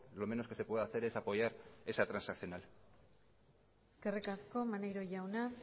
lo menos que se puede hacer es apoyar esa transaccional eskerrik asko maneiro jauna